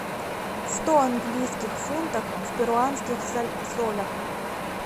сто английских фунтов в перуанских солях